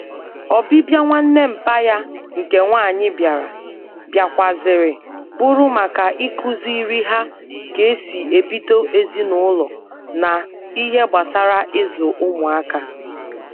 Obibia nwanne mpa ya nke nwanyi biara, biakwara ziri buru maka ikuziri ha ka esi ebido ezinulo na ihe gbasara izu umuaka